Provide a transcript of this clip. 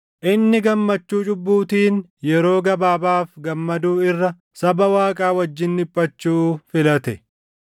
Inni gammachuu cubbuutiin yeroo gabaabaaf gammaduu irra saba Waaqaa wajjin dhiphachuu filate.